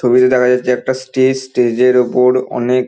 ছবিতে দেখা যাচ্ছে একটা স্টেজ স্টেজ এর ওপর অনেক--